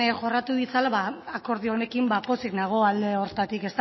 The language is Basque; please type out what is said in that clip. jorratu ditzala ba akordio honekin ba pozik nago alde horretatik